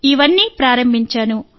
ఇవన్నీ ప్రారంభించాను